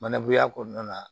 Manabunuya kɔnɔna na